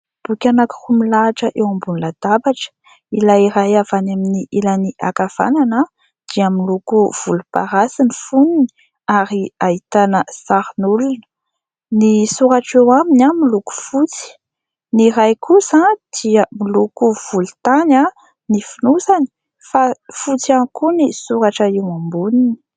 Boky anankiroa milahatra eo ambony latabatra. Ilay iray avy any amin'ny ilany ankavanana dia miloko volomparasy ny fonony ary ahitana sarin'olona. Ny soratra eo aminy miloko fotsy. Ny iray kosa dia miloko volontany ny fonosany fa fotsy ihany koa ny soratra eo amboniny.